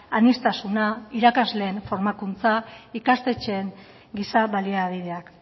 aniztasuna irakasleen formakuntza ikastetxeen giza baliabideak